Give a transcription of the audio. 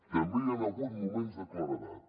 també hi han hagut moments de claredat